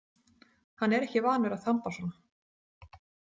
Hann er ekki vanur að þamba svona.